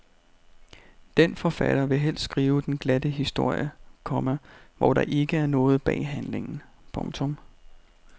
Denne forfatter vil helst skrive den glatte historie, komma hvor der ikke er noget bag handlingen. punktum